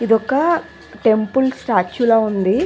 ఇది ఒక temple statue లా ఉంది.